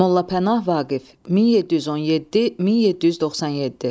Molla Pənah Vaqif 1717-1797.